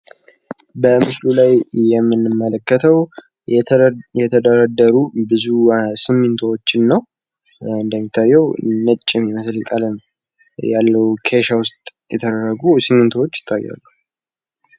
በምስሉ ላይ እንደምንመለከተው ብዛት ያላቸው የተደረደሩ ሲሚንቶዎችን ሲሆን ፤ ኬሻው ነጻ ያለ ቀለም አለው።